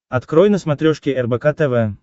открой на смотрешке рбк тв